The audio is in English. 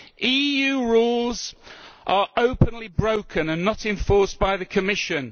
EU rules are openly broken and are not enforced by the Commission.